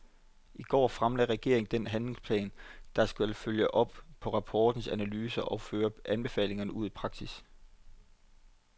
I går fremlagde regeringen den handlingsplan, der skal følge op på rapportens analyser og føre anbefalingerne ud i praksis.